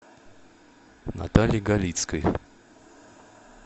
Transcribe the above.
натальи галицкой